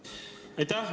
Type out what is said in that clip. Aitäh!